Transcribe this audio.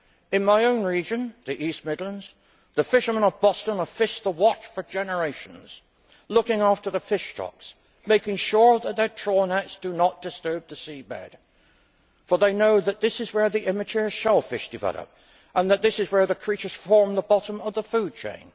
In my own region the East Midlands the fishermen of Boston have fished the Wash for generations, looking after the fish stocks and making sure that their trawl nets do not disturb the sea bed, for they know that this is where the immature shellfish develop and that this is where the creatures form the bottom of the food chain.